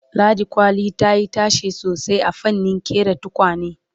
ladi kwali tayi tashe sosai a fannin ƙera tukwane